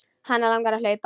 Hana langar að hlaupa.